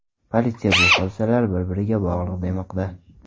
Politsiya bu hodisalar bir-biriga bog‘liq demoqda.